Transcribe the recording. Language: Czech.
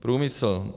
Průmysl.